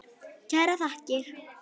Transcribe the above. Kærar þakkir